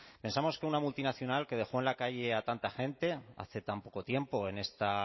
pensamos que una multinacional que dejó en la calle a tanta gente hace tan poco tiempo en esta